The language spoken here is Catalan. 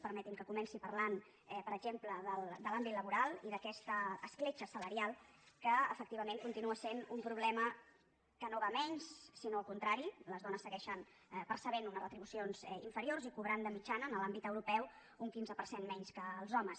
permeti’m que comenci parlant per exemple de l’àmbit laboral i d’aquesta escletxa salarial que efectivament continua sent un problema que no va a menys sinó al contrari les dones segueixen percebent unes retribucions inferiors i cobrant de mitjana en l’àmbit europeu un quinze per cent menys que els homes